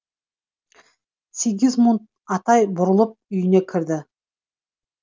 сигизмунд атай бұрылып үйіне кірді